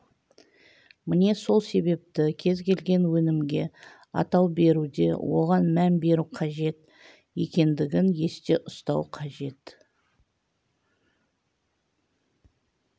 міне сол себепті кез келген өнімге атау беруде оған мән беру қажет екендігін есте ұстау қажет